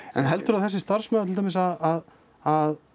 en heldurðu að þessi starfsmaður til dæmis að að